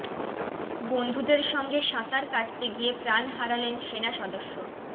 বন্ধুদের সঙ্গে সাঁতার কাটতে গিয়ে প্রাণ হারালেন সেনা সদস্য